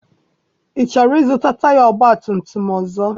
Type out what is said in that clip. I chọrọ I zụta taya ọgbatumtum ọzọ?